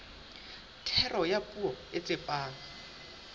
thero ya puo e tsepame